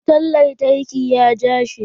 Wutan lantarki ya ja shi.